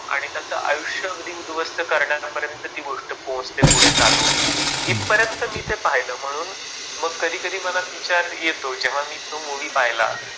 आणि त्याचा आयुष्य अगदी उद्ध्वस्त करण्यापर्यंत ती गोष्ट पोचते पुढे चालून. इथ पर्यंत मी ते पाहिल म्हणून मग कधी कधी मनात विचार येतो जेव्हा मी, तो मूवी पहिला